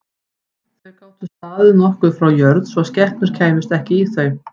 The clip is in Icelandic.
Þau gátu staðið nokkuð frá jörð svo að skepnur kæmust ekki í þau.